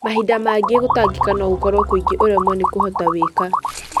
Mahinda mangĩ gũtangĩka no gũkorwo kwĩngĩ ũremwo nĩkũhota wĩka.